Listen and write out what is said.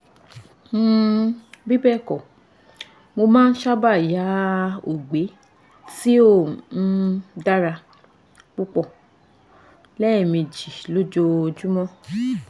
um bibẹẹkọ mo ma sabe ya ogbe ti o um dara pupọ lẹmeji lójoojúmọ́